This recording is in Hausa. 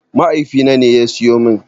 Mahaifina ne ya siyo min.